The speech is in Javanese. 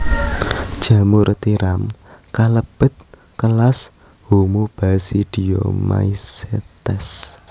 Jamur tiram kalebet kelas Homobasidiomycetes